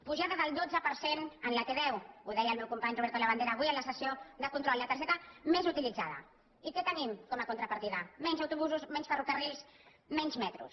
pujada del dotze per cent en la t deu ho deia el meu company roberto labandera avui en la sessió de control la targeta més utilitzada i què tenim com a contrapartida menys autobusos menys ferrocarrils menys metros